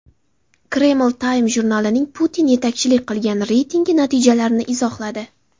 Kreml Time jurnalining Putin yetakchilik qilgan reytingi natijalarini izohladi.